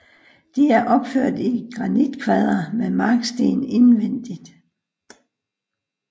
De er opført i granitkvadre med marksten indvendigt